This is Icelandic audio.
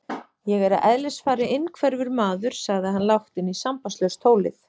Ég er að eðlisfari innhverfur maður, sagði hann lágt inn í sambandslaust tólið.